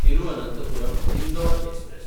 Thiruvananthapuram Indore express